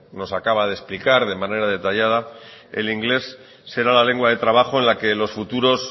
nos acaba de explicar de manera detallada el inglés será la lengua de trabajo en la que los futuros